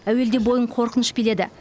әуелде бойын қорқыныш биледі